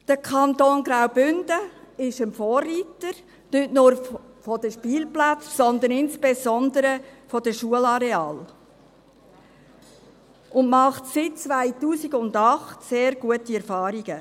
Der Kanton Graubünden ist ein Vorreiter, nicht nur von den Spielplätzen her, sondern insbesondere von den Schularealen her, und macht seit 2008 sehr gute Erfahrungen.